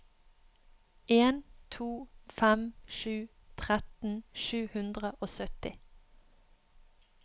en to fem sju tretten sju hundre og sytti